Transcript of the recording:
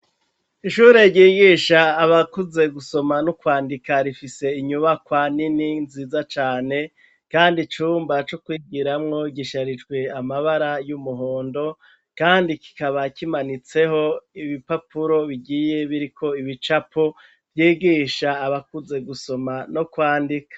Ishure ryigisha abakuze gusoma nokwandika Rifise inyubakwa Nini nziza cane Kandi icumba cokwigiramwo gisharijwe amabara yumuhondo Kandi kimanitseho ibipapuro bigiye biriko ibicapo bigisha abakuze gusoma no kwandika.